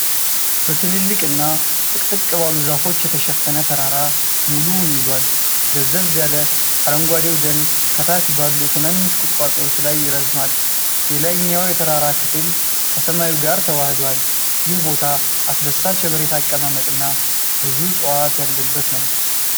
በትልልቅና ጥቅጥቅ ባሉ ዛፎች የተሸፈነ ተራራ ሙሉውን ይዟል:: ደብዘዝ ያለ አረንጓዴው ደን ከታች ባሉ ትንንሽ ቁጥቋጦዎች ላይ ይረዝማል:: የላይኛው የተራራው ክፍል ከሰማዩ ጋር ተዋህዷል:: ይህ ቦታ አስደሳች የመሬት አቀማመጥና ብዙ እፅዋት ያለበት ነው::